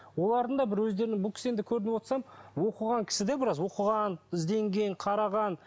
олардың да бір өздерінің бұл кісі енді көріп отырсам оқыған кісі де біраз оқыған ізденген қараған